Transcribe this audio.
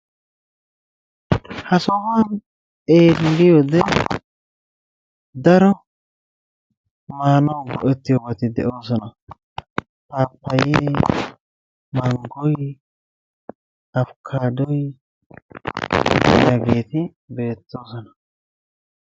Ha sohuwan xeelliyode daro maanauw go"ettiyobati de"oosona. Paappayyee, manggoyi, afkkaaddoyi hageeti beettoosona.